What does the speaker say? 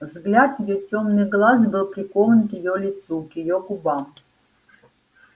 взгляд её тёмных глаз был прикован к её лицу к её губам